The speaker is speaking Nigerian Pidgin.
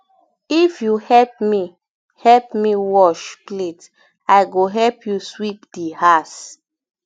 if you help me um help me um wash um plate i go help you sweep um di house